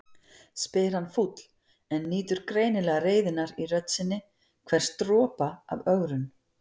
spyr hann fúll en nýtur greinilega reiðinnar í rödd sinni, hvers dropa af ögrun.